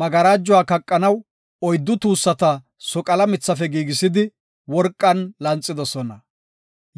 Magarajuwa kaqanaw oyddu tuussata soqala mithafe giigisidi, worqan lanxidosona.